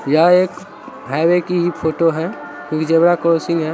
यह एक हाइवे की ही फोटो है क्योंकि जेब्रा क्रॉसिंग है।